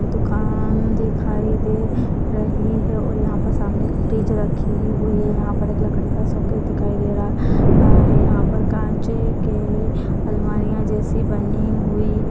दुकान दिखाई दे रही है और यहां पर सामने एक फ्रिज रखी हुई है यहां पर एक लकड़ी का शोकेस दिखाई दे रहा है यहां पर कांच की अलमारियां जैसी बनी हुई --